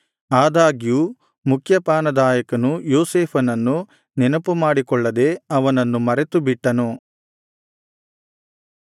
ಆದಾಗ್ಯೂ ಮುಖ್ಯಪಾನದಾಯಕನು ಯೋಸೇಫನನ್ನು ನೆನಪುಮಾಡಿಕೊಳ್ಳದೆ ಅವನನ್ನು ಮರೆತುಬಿಟ್ಟನು